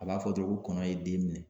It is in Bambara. A b'a fɔ ten ko kɔnɔ ye den minɛ